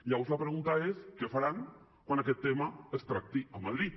llavors la pregunta és què faran quan aquest tema es tracti a madrid